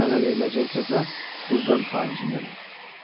Mənə veriləcək cəza qüvvəm xaricindədir.